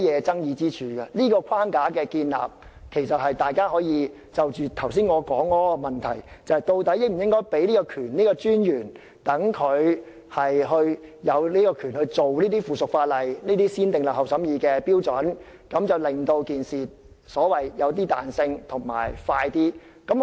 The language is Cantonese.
就建立這個框架而言，其實大家可以思考我剛才提出的問題，即究竟應否賦權金融管理專員處理這些附屬法例，按照"先訂立後審議"的程序，令處理過程更具彈性及更有效率。